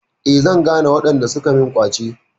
Eh, zan gane waɗanda suka min ƙwace.